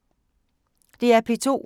DR P2